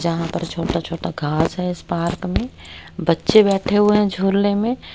जहां पर छोटा छोटा घास है इस पार्क में बच्चे बैठे हुए हैं झूलने में--